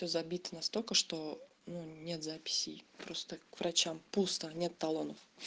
забито настолько что ну нет записей просто к врачам пусто нет талонов